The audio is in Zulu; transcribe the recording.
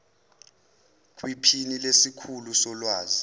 kwiphini lesikhulu solwazi